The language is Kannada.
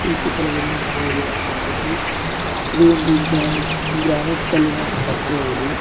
ಈ ಚಿತ್ರದಲ್ಲಿ ನೋಡುವುದ ಏನಪ್ಪ ಅಂತ ಅಂದ್ರೆ ಇದು ಒಂದು ಗ್ರಾನೆಟ್ ಗ್ರಾನೆಟ್ ಕಲ್ಲಿನ ಫ್ಯಾಕ್ಟರಿ ಆಗಿದೆ.